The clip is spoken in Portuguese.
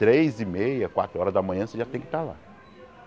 Três e meia, quatro horas da manhã você já tem que estar lá.